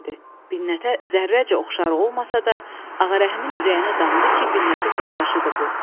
Binnətə zərrəcə oxşarı olmasa da, Ağarəhimin ürəyinə damdı ki, Binnətin qardaşıdır bu.